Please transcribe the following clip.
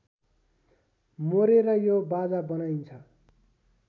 मोरेर यो बाजा बनाइन्छ